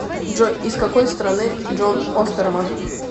джой из какой страны джон остерман